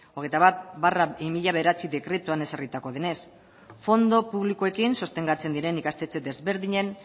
hogeita bat barra bi mila bederatzi dekretuan ezarritakoa denez fondo publikoekin sostengatzen diren ikastetxe desberdinen